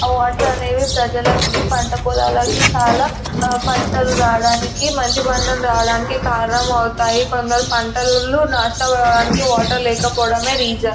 ఆ వాటర్ అనేది ప్రజలకి పంటపొలాలకు చాలా పంటలు రావడానికి మంచి పంటలు రావడానికి కారణం అవుతాయి కొందరు పంటలు నాశనం అవ్వడానికి వాటర్ లేకపోవడమే రీసన్ .